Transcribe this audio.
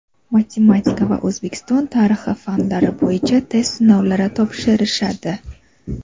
matematika va O‘zbekiston tarixi fanlari bo‘yicha test sinovlari topshirishadi.